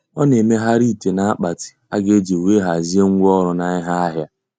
Ọ na-emegharị ite na akpati a ga-eji wee hazie ngwa ọrụ na ihe ahịa.